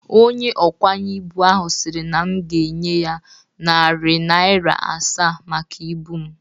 Onye ọkwanye ibụ ahụ siri na m ga-enye ya narị narịa asaa maka ibụ m.